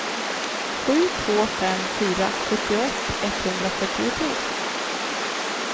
sju två fem fyra sjuttioett etthundrafyrtiotre